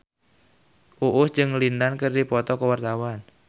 Uus jeung Lin Dan keur dipoto ku wartawan